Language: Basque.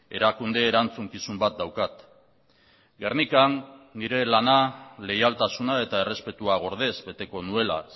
erakunde erantzukizun bat daukat gernikan nire lana leialtasuna eta errespetua gordez beteko nuela